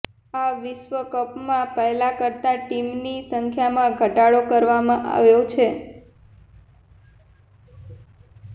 આ વિશ્વકપમાં પહેલા કરતા ટીમની સંખ્યામાં ઘટાડો કરવામાં આવ્યો છે